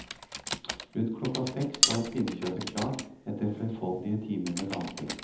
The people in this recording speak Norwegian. Rundt klokka seks var pinnekjøttet klart etter flerfoldige timer med damping.